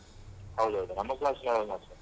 ಹೌದೌದು ನಮ್ಮ class ನವರು ಮಾತ್ರ.